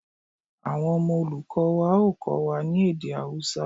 Awọn ọmọ olukọ wa o Kọ́wa ni èdè Awusa